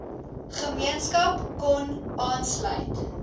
gemeenskap kon aanlsuit